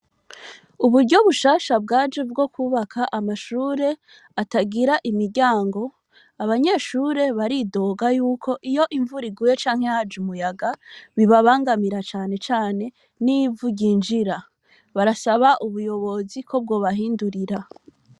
Uburyo bushasha bwaje bwo kwubaka amashure atagira imiryango . Abanyeshure baridoga yuko iyo imvura iguye canke haje umuyaga bibabangamira cane cane n'ivu ryinjira. Barasaba ubuyobozi ko bwobahindurira.